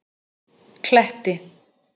Kletti